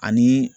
Ani